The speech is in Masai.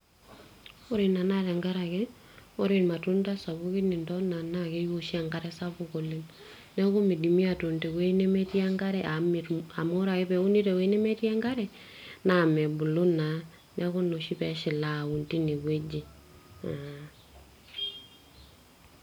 ore ina naa tenkaraki, naa ore irmatunda sapukin intona, naa keimu oshi enkare sapuk oleng. neekku midimi atuun te wueji nemetii enkare amu, ore ake pee euni te wueji nemetii enkare, naa mebulu naa ,neeku ina oshi pee eshil aun teine wueji.